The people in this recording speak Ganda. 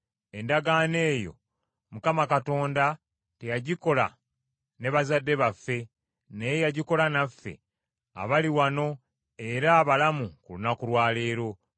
Endagaano eyo Mukama Katonda teyagikola ne bazadde baffe, naye yagikola naffe abali wano era abalamu ku lunaku lwa leero.